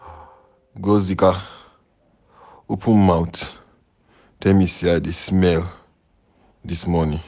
Ngọzika open mouth tell me say I dey smell dis morning.